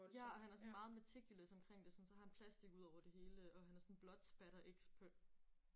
Ja han er sådan meget meticulous omkring det. Sådan så har han sådan plastik over det hele og han er sådan blood splatter expert